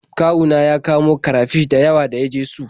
Kawu na ya kamo karafish da yawa da ya je su.